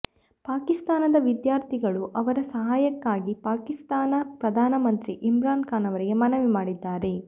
ಪಾಕಿಸ್ತಾನದ ವಿದ್ಯಾರ್ಥಿಗಳು ಅವರ ಸಹಾಯಕ್ಕಾಗಿ ಪಾಕಿಸ್ತಾನ ಪ್ರಧಾನಮಂತ್ರಿ ಇಮ್ರಾನ್ ಖಾನ್ ಅವರಿಗೆ ಮನವಿ ಮಾಡಿದ್ದಾರೆ